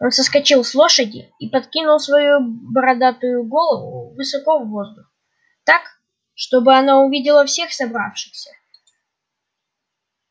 он соскочил с лошади и подкинул свою бородатую голову высоко в воздух так чтобы она увидела всех собравшихся